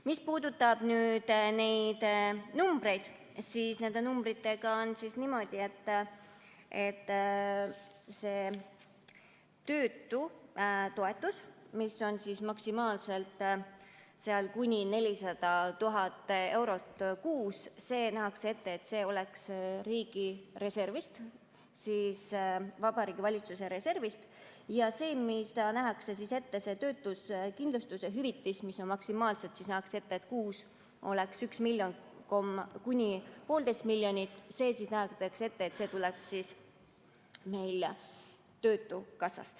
Mis puudutab numbreid, siis nende numbritega on niimoodi, et nähakse ette, et töötutoetus, mis on maksimaalselt kuni 400 000 eurot kuus, tuleks riigireservist, Vabariigi Valitsuse reservist, ja nähakse ette, et töötuskindlustuse hüvitis, mis kuus oleks 1 miljon kuni 1,5 miljonit, tuleks töötukassast.